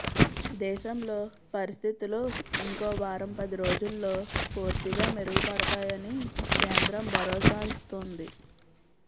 దేశంలో పరిస్థితులు ఇంకో వారం పది రోజుల్లో పూర్తిగా మెరుగుపడ్తాయని కేంద్రం భరోసా ఇస్తోంది